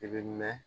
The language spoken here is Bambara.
I bɛ mɛn